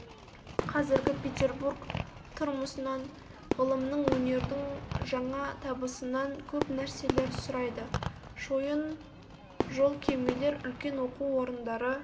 қазіргі петербург тұрмысынан ғылымның өнердің жаңа табысынан көп нәрселер сұрайды шойын жол кемелер үлкен оқу орындары